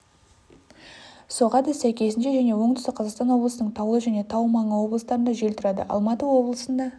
соғады сәйкесінше және оңтүстік қзаақстан облысының таулы және тау маңы облыстарында жел тұрады алматы облысында